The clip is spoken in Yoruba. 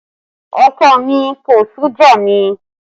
Ọkọ mi kò sú já mi